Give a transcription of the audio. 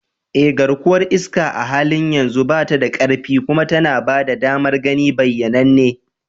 Eh, garkuwar iska a halin yanzu ba ta da ƙarfi kuma tana ba da damar gani bayyananne.